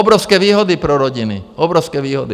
Obrovské výhody pro rodiny, obrovské výhody.